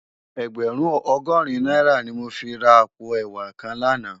Ègbèrún ògòrín nàirá ni mó fi rá àpó èwá kán làná